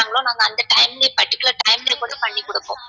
time லயே particular time லயே கூட பண்ணி குடுப்போம்